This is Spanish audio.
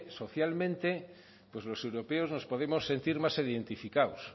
socialmente pues los europeos nos podemos sentir más identificados